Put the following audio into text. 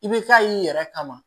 I bɛ taa y'i yɛrɛ kama